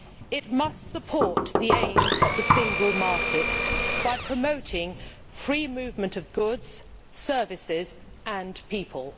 It must support the aims of the single market by promoting free movement of goods, services and people.